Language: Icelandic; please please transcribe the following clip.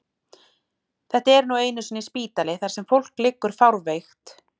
Þetta er nú einu sinni spítali þar sem fólk liggur fárveikt.